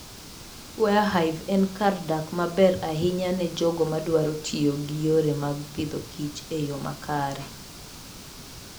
Warre Hive en kar dak maber ahinya ne jogo madwaro tiyo gi yore mag Agriculture and Food e yo makare.